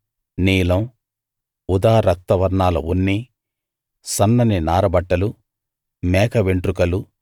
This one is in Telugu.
నీలం ఊదా రక్త వర్ణాల ఉన్ని సన్నని నార బట్టలు మేక వెంట్రుకలు